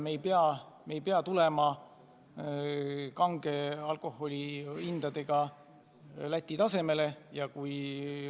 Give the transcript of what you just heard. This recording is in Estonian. Me ei pea kange alkoholi hindu Läti tasemele langetama.